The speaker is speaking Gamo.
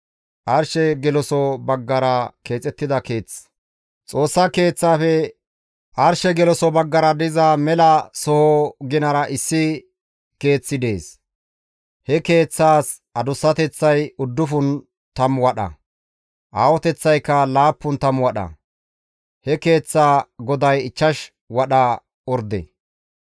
Xoossa Keeththafe arshe geloso baggara diza mela soho ginara issi keeththay dees. He keeththas adussateththay uddufun tammu wadha; aahoteththaykka laappun tammu wadha. He keeththaa goday ichchash wadha orde.